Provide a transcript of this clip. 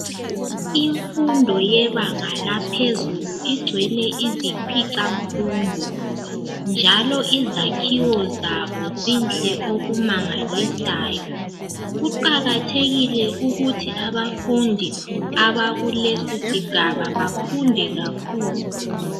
Imfundo yebanga laphezulu igcwele izikhwicamfundo, njalo izakhiwo zabo zinhle okumangalisayo. Kuqakathekile ukuthi abafundi abakulesisigaba bafunde kakhulu.